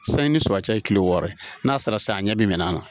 Sani ni suman cɛ ye kile wɔɔrɔ ye n'a sera san ɲɛ bi naani ma